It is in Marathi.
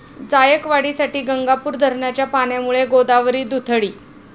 जायकवाडीसाठी गंगापूर धरणाच्या पाण्यामुळे गोदावरी दुथडी